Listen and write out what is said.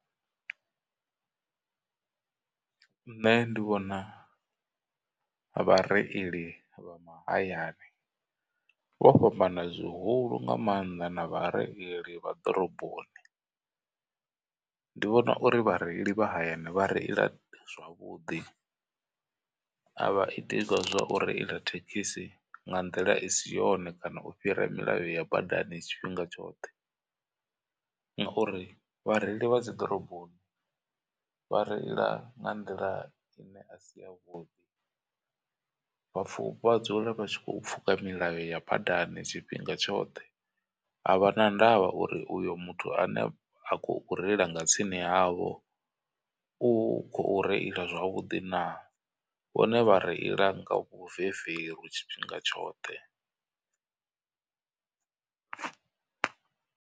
Nṋe ndi vhona vha reili vha mahayani vho fhambana zwihulu nga maanḓa na vha reili vha ḓoroboni, ndi vhona uri vhareili vha hayani vha reila zwavhuḓi. A vha iti hezwiḽa zwa u reila thekhisi nga nḓila i si yone kana u fhira milayo ya badani tshifhinga tshoṱhe. Ngauri vhareili vha dzi ḓoroboni vha reila nga nḓila ine a si yavhuḓi vha dzula vha tshi kho pfuka milayo ya badani tshifhinga tshoṱhe. A vha na ndavha uri uyu muthu ane a khou reila nga tsini havho u khou reila zwavhuḓi naa vhone vha reila nga vhuveveru tshifhinga tshoṱhe.